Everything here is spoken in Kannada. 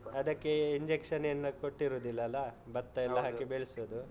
ಅದಕ್ಕೆ injection ಏನು ಕೊಟ್ಟಿರುದಿಲ್ಲಲ್ಲಾ? ಭತ್ತಯೆಲ್ಲಾ ಹಾಕಿ ಬೆಳ್ಸುದು.